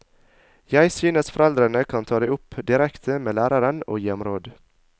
Jeg synes foreldrene kan ta det opp direkte med læreren og gi ham råd.